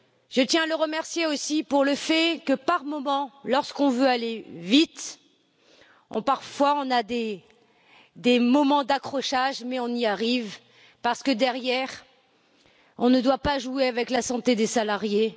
Je tiens à le remercier aussi pour le fait que, parfois, lorsqu'on veut aller vite, on a des moments d'accrochage, mais on y arrive parce que, derrière, on ne doit pas jouer avec la santé des salariés.